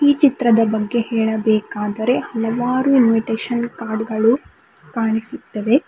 ಈ ಚಿತ್ರದ ಬಗ್ಗೆ ಹೇಳಬೆಕಾದರೆ ಹಲವಾರು ಇನ್ವಿಟೇಶನ್ ಕಾರ್ಡ್ ಗಳು ಕಾಣಿಸುತ್ತವೆ.